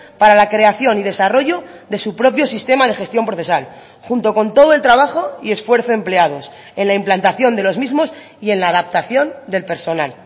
para la creación y desarrollo de su propio sistema de gestión procesal junto con todo el trabajo y esfuerzo empleados en la implantación de los mismos y en la adaptación del personal